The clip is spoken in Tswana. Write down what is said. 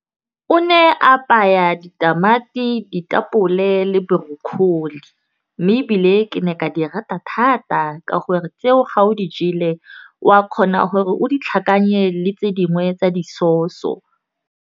O ne a apaya ditamati, ditapole le broccoli. Mme ebile ke ne ka di rata thata. Ka gore tseo ga o di jele o a kgona gore o di tlhakanya le tse dingwe tsa di-sauce-o.